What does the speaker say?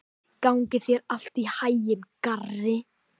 Gangi þér allt í haginn, Garri.